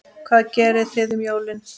Hvað gerið þið um jólin?